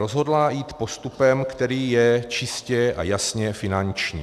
Rozhodla jít postupem, který je čistě a jasně finanční.